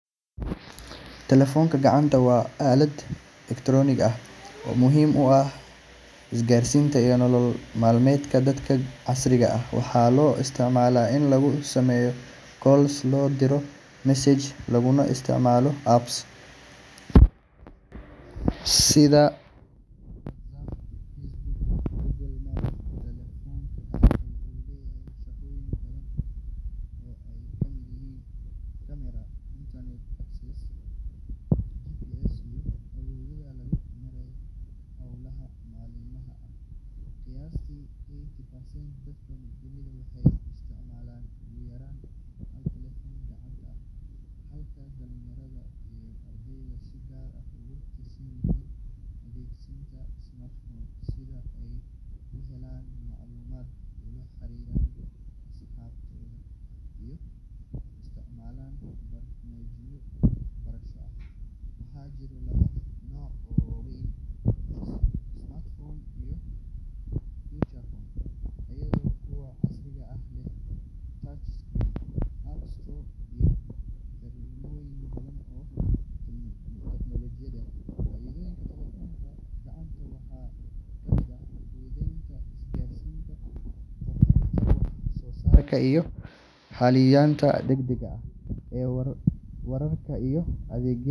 Telefoonka gacanta waa aalad elektaroonig ah oo muhiim u ah isgaarsiinta iyo nolol maalmeedka dadka casriga ah. Waxaa loo isticmaalaa in lagu sameeyo calls, loo diro messages, laguna isticmaalo apps kala duwan sida WhatsApp, Facebook, iyo Google Maps. Telefoonka gacanta wuxuu leeyahay shaqooyin badan oo ay ka mid yihiin camera, internet access, GPS, iyo awoodda lagu maareeyo howlaha maalinlaha ah. Qiyaastii eighty percent dadka dunida waxay isticmaalaan ugu yaraan hal telefoon gacanta, halka dhalinyarada iyo ardayda si gaar ah ugu tiirsan yihiin adeegsiga smartphones si ay u helaan macluumaad, ula xiriiraan asxaabtooda, iyo u isticmaalaan barnaamijyo waxbarasho. Waxaa jira laba nooc oo waaweyn: smartphones iyo feature phones, iyadoo kuwa casriga ah leh touchscreen, apps store, iyo xirmooyin badan oo tiknoolajiyeed. Faa’iidooyinka telefoonka gacanta waxaa ka mid ah fududeynta isgaarsiinta, kordhinta wax-soo-saarka, iyo helitaanka degdegga ah ee wararka iyo adeegyada.